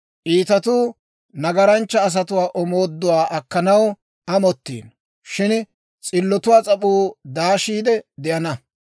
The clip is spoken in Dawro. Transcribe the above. Iitatuu nagaranchcha asatuwaa omooduwaa akkanaw amottiino; shin s'illotuwaa s'ap'uu daashiide de'ana.